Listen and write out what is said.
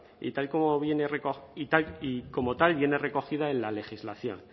y como tal viene recogida en la legislación